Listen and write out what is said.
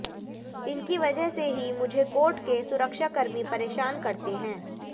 इनकी वजह से ही मुझे कोर्ट के सुरक्षा कर्मी परेशान करते हैं